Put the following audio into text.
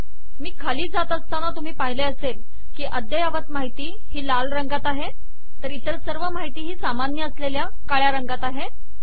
मी खाली जात असताना तुम्ही पाहिले असेल की अद्ययावत माहिती लाल रंगात आहे तर इतर सर्व माहिती सामान्य असलेल्या काळ्या रंगात आहे